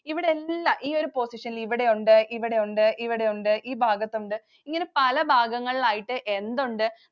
ഇവിടെയെല്ലാം ഈയൊരു position ൽ ഇവിടെയുണ്ട്, ഇവിടെയുണ്ട്, ഇവിടെയുണ്ട്, ഈ ഭാഗത്തുണ്ട്. ഇങ്ങനെ പല ഭാഗങ്ങളായിട്ട് എന്തുണ്ട്?